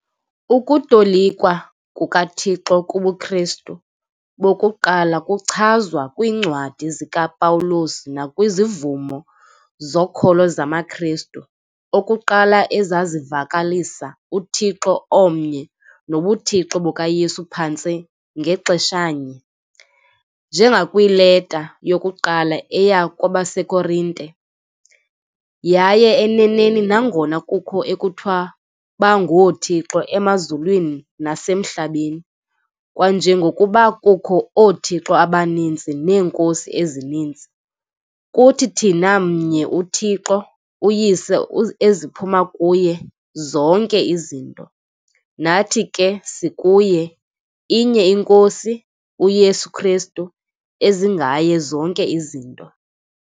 Ukutolikwa kukaThixo kubuKristu bokuqala kwachazwa kwiiNcwadi zikaPawulos nakwizivumo zokholo zamaKristu okuqala ezazivakalisa uThixo omnye nobuThixo bukaYesu phantse ngaxeshanye, njengakwiLeta yokuQala eya kwabaseKorinte- "Yaye eneneni, nangona kukho ekuthiwa bangoothixo emazulwini nasemhlabeni, kwanjengokuba kukho 'oothixo' abaninzi 'neenkosi' ezininzi, kuthi thina mnye uThixo, uYise eziphuma kuye zonke izinto. nathi ke sikuye, inye iNkosi, uYesu Kristu, ezingaye zonke izinto.